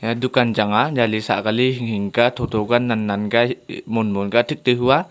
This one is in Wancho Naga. eya dukan chang a jali sahkali hinghing kia thotho kia nannan kia monmon ka thik tai hua.